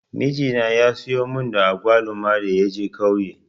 Mijina ya zo mun da agwaluma da ya je ƙauye.